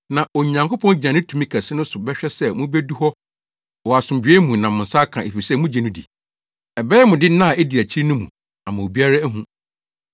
Na Onyankopɔn gyina ne tumi kɛse no so bɛhwɛ sɛ mubedu hɔ wɔ asomdwoe mu na mo nsa aka, efisɛ mugye no di. Ɛbɛyɛ mo de nna a edi akyiri no mu ama obiara ahu.